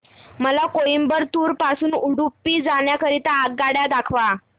मला कोइंबतूर पासून उडुपी जाण्या करीता आगगाड्या दाखवा